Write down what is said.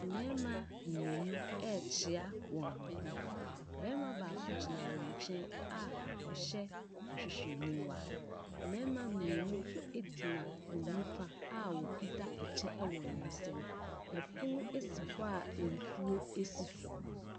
Mmarima mmienu ɛrekyia wɔn ho, barima baako gyina wcn nkyɛn a ɔhyɛ hwehwɛniwa, mmarima mmienu nso gyina wɔn nifa a wɔkit kyɛ wɔ wɔn nsa mu. Pono si hɔ a nsuo si so.